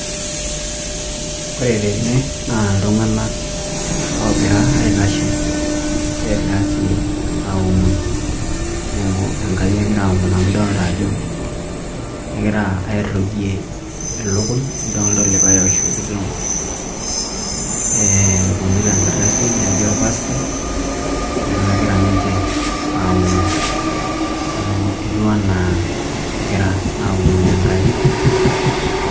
Ore tene na ltunganak ogira aitashe negira si aomon, enkai egira aomon amu idolta ajo kegira airugie ilikuny didollta likae oibungita enkardasi naijo orpaastai neaku kegira ninche aomon etiu ana kegira amon enkai.